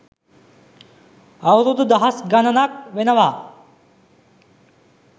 අවුරුදු දහස් ගණනක් වෙනවා.